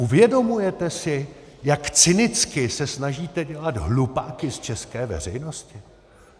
Uvědomujete si, jak cynicky se snažíte dělat hlupáky z české veřejnosti?